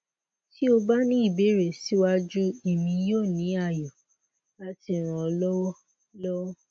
ti o ba ni ibeere siwaju emi yoo ni ayọ lati ran ọ lọwọ lọwọ